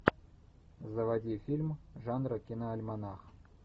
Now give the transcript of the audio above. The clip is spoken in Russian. заводи фильм жанра киноальманах